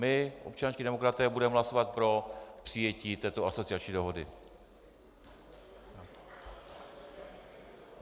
My, občanští demokraté, budeme hlasovat pro přijetí této asociační dohody.